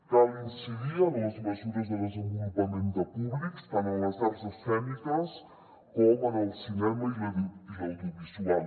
cal incidir en les mesures de desenvolupament de públics tant en les arts escèniques com en el cinema i l’audiovisual